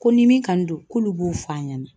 Ko ni min kanu don, k'olu b'o f'an ɲɛna.